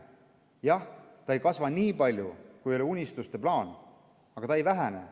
Jah, ta ei kasva nii palju, kui oli unistuste plaan, aga ta ei vähene.